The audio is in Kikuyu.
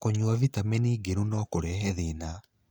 Kũnyũa vitamini ngĩru no kũrehe thĩna